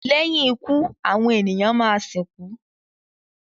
lẹ́yìn ikú àwọn ènìyàn má sìnkú.